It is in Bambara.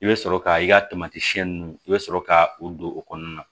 I bɛ sɔrɔ ka i ka ninnu i bɛ sɔrɔ ka u don o kɔnɔna na